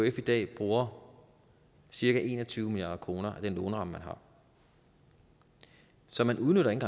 ekf i dag bruger cirka en og tyve milliard kroner af den låneramme man har så man udnytter ikke